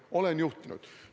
Olen juhtinud.